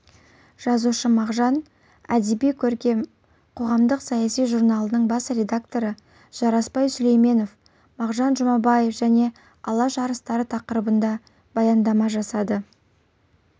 жазушы мағжан әдеби-көркем қоғамдық-саяси журналының бас редакторы жарасбай сүлейменов мағжан жұмабаев және алаш арыстары тақырыбында баяндама жасады